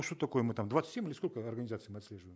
что такое мы там двадцать семь или сколько организаций мы отслеживаем